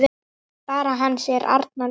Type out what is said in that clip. Barn hans er Arna Rún.